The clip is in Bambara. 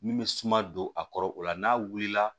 Min bɛ suma don a kɔrɔ o la n'a wulila